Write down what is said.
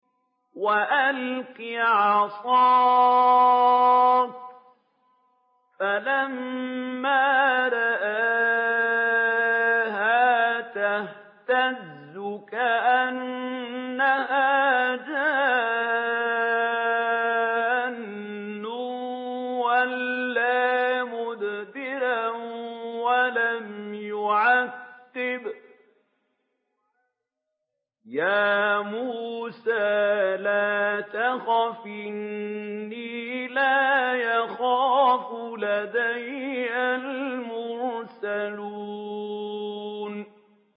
وَأَلْقِ عَصَاكَ ۚ فَلَمَّا رَآهَا تَهْتَزُّ كَأَنَّهَا جَانٌّ وَلَّىٰ مُدْبِرًا وَلَمْ يُعَقِّبْ ۚ يَا مُوسَىٰ لَا تَخَفْ إِنِّي لَا يَخَافُ لَدَيَّ الْمُرْسَلُونَ